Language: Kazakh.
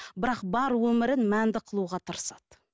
бірақ бар өмірін мәнді қылуға тырысады